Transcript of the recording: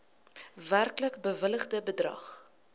werklik bewilligde bedrag